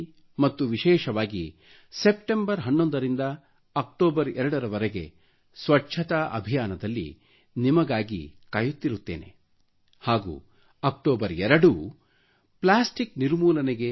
ಮತ್ತು ವಿಶೇಷವಾಗಿ ಸೆಪ್ಟಂಬರ್ 11 ರಿಂದ ಅಕ್ಟೋಬರ್ 02 ರವರೆಗೆ ಸ್ವಚ್ಛತಾ ಅಭಿಯಾನ ದಲ್ಲಿ ಹಾಗೂ ಅಕ್ಟೋಬರ್ 2 ರಂದು ಟೋಟಲ್ಲಿ ಡೆಡಿಕೇಟೆಡ್ ಪ್ಲಾಸ್ಟಿಕ್ ಗಾಗಿ